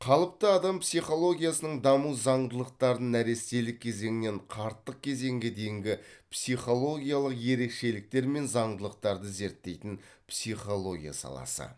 қалыпты адам психологиясының даму заңдылықтарын нәрестелік кезеңнен қарттық кезеңге дейінгі психологиялық ерекшеліктер мен заңдылықтарды зерттейтін психология саласы